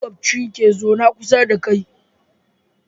Makoci ke zaune kusa da kai